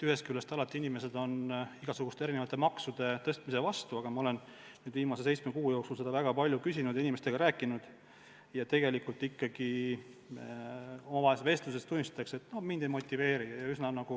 Ühest küljest on inimesed alati igasuguste maksude tõstmise vastu, aga ma olen viimase seitsme kuu jooksul seda väga palju küsinud ja inimestega rääkinud ja tegelikult omavahelises vestluses tunnistatakse, et mind ei motiveeri miski sorteerima.